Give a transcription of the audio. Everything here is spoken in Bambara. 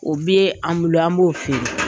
O bɛ an bolo an b'o feere